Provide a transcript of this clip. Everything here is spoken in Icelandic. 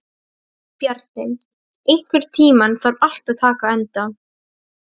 Bjarni, einhvern tímann þarf allt að taka enda.